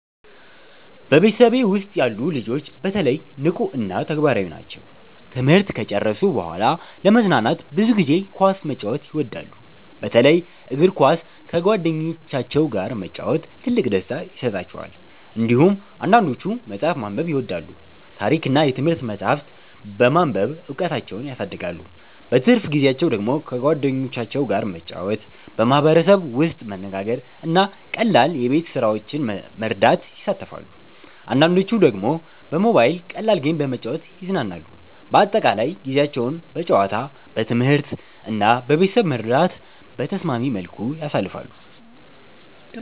በቤተሰቤ ውስጥ ያሉ ልጆች በተለይ ንቁ እና ተግባራዊ ናቸው። ትምህርት ከጨረሱ በኋላ ለመዝናናት ብዙ ጊዜ ኳስ መጫወት ይወዳሉ፣ በተለይ እግር ኳስ በጓደኞቻቸው ጋር መጫወት ትልቅ ደስታ ይሰጣቸዋል። እንዲሁም አንዳንዶቹ መጽሐፍ ማንበብ ይወዳሉ፣ ታሪክ እና የትምህርት መጻሕፍት በማንበብ እውቀታቸውን ያሳድጋሉ። በትርፍ ጊዜያቸው ደግሞ ከጓደኞቻቸው ጋር መጫወት፣ በማህበረሰብ ውስጥ መነጋገር እና ቀላል የቤት ስራዎችን መርዳት ይሳተፋሉ። አንዳንዶቹ ደግሞ በሞባይል ቀላል ጌም በመጫወት ይዝናናሉ። በአጠቃላይ ጊዜያቸውን በጨዋታ፣ በትምህርት እና በቤተሰብ መርዳት በተስማሚ መልኩ ያሳልፋሉ።